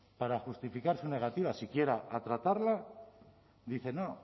para justificar su negativa siquiera a tratarla dice no